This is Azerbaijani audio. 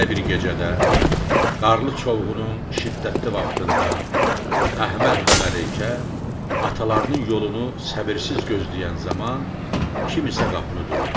Belə bir gecədə qarlı çovğunun şiddətli vaxtında Əhməd və Məleykə atalarının yolunu səbirsiz gözləyən zaman kim isə qapını döydü.